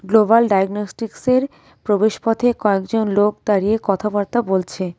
Global ডায়াগনস্টিকসের প্রবেশপথে কয়েকজন লোক দাঁড়িয়ে কথাবার্তা বলছে.